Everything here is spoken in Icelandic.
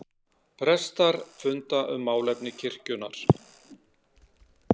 Prestar funda um málefni kirkjunnar